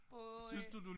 På